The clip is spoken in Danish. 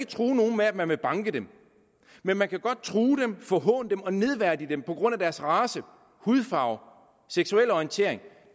true nogen med at man vil banke dem men man kan godt true dem forhåne dem og nedværdige dem på grund af deres race hudfarve seksuelle orientering